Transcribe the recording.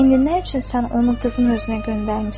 İndi nə üçün sən onu qızın özünə göndərmisən?